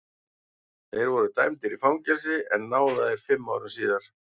Þeir voru dæmdir í fangelsi en náðaðir fimm árum síðar.